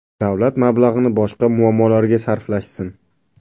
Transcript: Davlat mablag‘ini boshqa muammolarga sarflashsin.